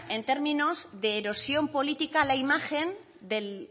en términos de erosión política a la imagen del